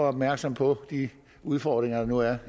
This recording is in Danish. opmærksomme på de udfordringer der nu er